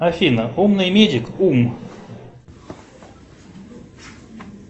афина умный медик ум